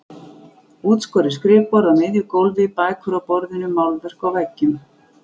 Útskorið skrifborð á miðju gólfi, bækur á borðinu, málverk á veggjum.